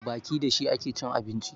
Baki da shi ake cin abinci